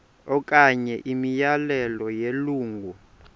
okanye imiyalelo yelungu